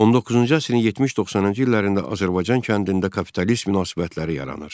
19-cu əsrin 70-90-cı illərində Azərbaycan kəndində kapitalist münasibətləri yaranır.